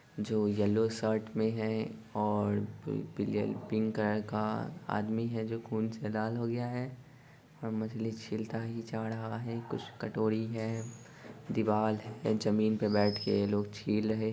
जो yellow shirt मैं हैं और एक पिंक कलर का आदमी हैं जो खून से लाल हो गया हैं और मछली छिलता ही जा रहा हैं कुछ कटोरी हैं दीवाल है जमीन पे बैठे के ये लोग छील रहे हैं।